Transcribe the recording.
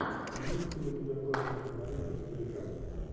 имеется ли у тебя классная кинолента в стиле драмы